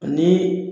Ni